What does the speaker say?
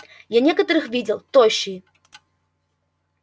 я некоторых видел тощие